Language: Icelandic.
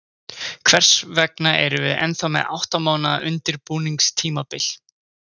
Hvers vegna erum við ennþá með átta mánaða undirbúningstímabil?